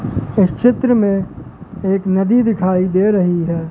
इस चित्र में एक नदी दिखाई दे रही है।